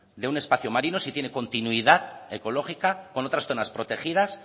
de un espacio marino si tiene continuidad ecológica con otras zonas protegidas